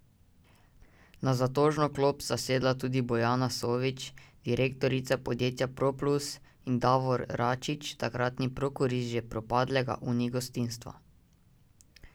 Na zatožno klop sta sedla tudi Bojana Sovič, direktorica podjetja Proplus, in Davor Račič, takratni prokurist že propadlega Uni gostinstva.